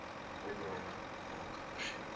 hulpbronne maak voorsiening